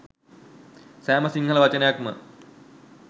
සෑම සිංහල වචනයක්ම